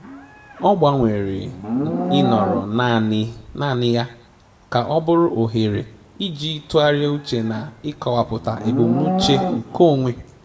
Ọ gbanwere ịnọrọ naanị naanị ya ka ọ bụrụ ohere iji tụgharịa uche na ịkọwapụta ebumnuche nke onwe